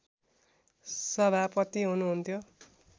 सभापति हुनुहुन्थ्यो